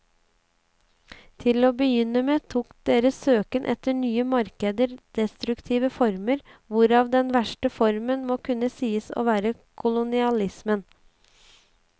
Til å begynne med tok deres søken etter nye markeder destruktive former, hvorav den verste formen må kunne sies å være kolonialismen.